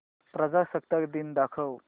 प्रजासत्ताक दिन दाखव